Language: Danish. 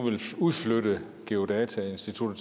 udflytte geodatastyrelsen